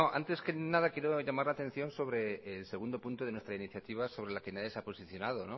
antes que nada quiero llamar la atención sobre el segundo punto de nuestra iniciativa sobre la que nadie se ha posicionado